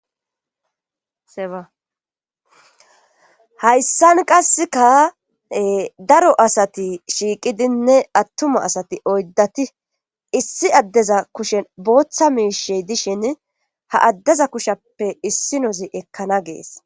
Hahayssan qasseka daro asati shiiqidinne attuma asati oyddati issi addeza kushen booththa miishe dishin ha addeza kushappe issi nozi ekkana gees